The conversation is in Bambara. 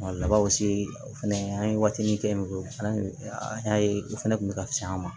Labanw se o fɛnɛ an ye watinin kɛ yen ko fana an y'a ye u fana tun bɛ ka se an ma